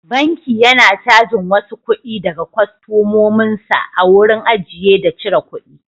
Banki yana cajin wasu kuɗi daga kwastomomin sa a wurin ajiye da cire kuɗi.